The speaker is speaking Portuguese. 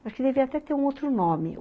Acho que devia até ter um outro nome.